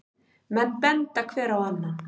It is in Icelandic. Menn benda hver á annan.